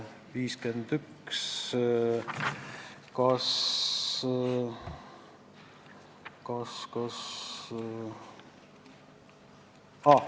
Ettepanek 51, kas ...